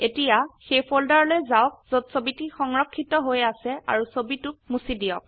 এতিয়া সেই ফোল্ডাৰলৈ যাওক যত ছবিটি সংৰক্ষিত হৈ আছে আৰু ছবিটোক মুছি দিয়ক